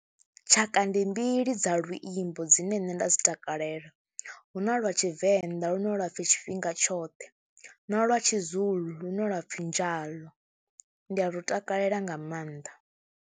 Tshaka ndi mbili dza luimbo dzine nṋe nda dzi takalela, hu na lwa Tshivenḓa lune lwa pfhi tshifhinga tshoṱhe na lwa tshiZulu lune lwa pfhi njalo. Ndi a lu takalela nga maanḓa.